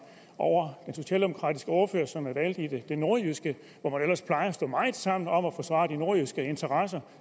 over den socialdemokratiske ordfører som er valgt i det nordjyske hvor man ellers plejer at stå meget sammen om at forsvare de nordjyske interesser